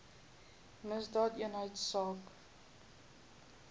misdaadeenheidsaak